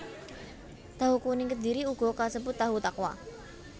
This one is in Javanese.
Tahu kuning Kedhiri uga kasebut tahu takwa